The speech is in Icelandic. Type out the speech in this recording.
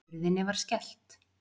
Hurðinni var skellt.